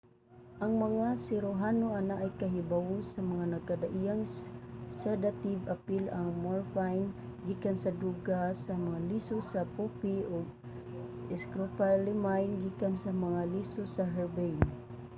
ang mga siruhano anaay kahibawo sa mga nagkadaiyang sadative apil ang morphine gikan sa duga sa mga liso sa poopy ug scopolamine gikan sa mga liso sa herbane